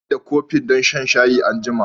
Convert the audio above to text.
Zan buƙaci amfani da kofin don shayi anjima.